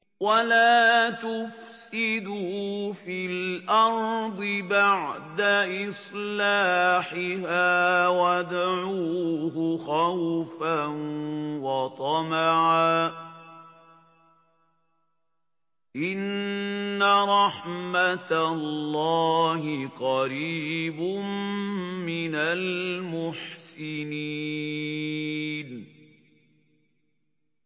وَلَا تُفْسِدُوا فِي الْأَرْضِ بَعْدَ إِصْلَاحِهَا وَادْعُوهُ خَوْفًا وَطَمَعًا ۚ إِنَّ رَحْمَتَ اللَّهِ قَرِيبٌ مِّنَ الْمُحْسِنِينَ